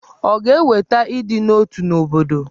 Ọ̀ ga-eweta ịdị n'otu n'obodo?